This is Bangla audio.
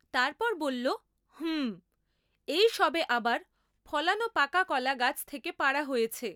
তারপর বলল, হুমম্, এই সবে আবার ফলানো পাকা কলা গাছ থেকে পাড়া হয়েছে।